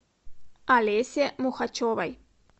олесе мухачевой